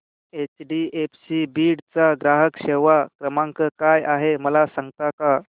HDFC Beed चा ग्राहक सेवा क्रमांक काय आहे मला सांगता का